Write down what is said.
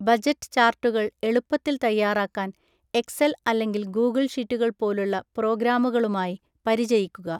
Budget ചാർട്ടുകൾ എളുപ്പത്തിൽ തയ്യാറാക്കാൻ എക്സൽ അല്ലെങ്കിൽ ഗൂഗിൾ ഷീറ്റുകൾ പോലുള്ള പ്രോഗ്രാമുകളുമായി പരിചയിക്കുക.